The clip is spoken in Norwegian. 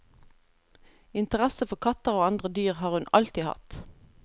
Interesse for katter og andre dyr har hun alltid hatt.